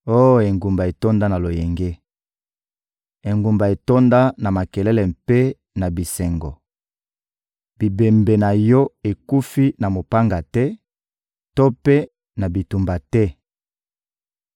Oh engumba etonda na loyenge, engumba etonda na makelele mpe na bisengo! Bibembe na yo ekufi na mopanga te to mpe na bitumba te.